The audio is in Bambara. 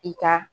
I ka